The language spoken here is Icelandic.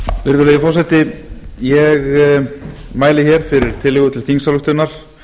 virðulegi forseti ég mæli fyrir tillögu til þingsályktunar